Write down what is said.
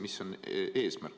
Mis on eesmärk?